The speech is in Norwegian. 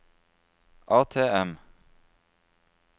ATM